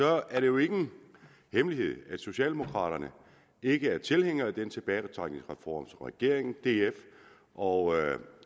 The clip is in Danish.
er det jo ingen hemmelighed at socialdemokraterne ikke er tilhængere af den tilbagetrækningsreform som regeringen df og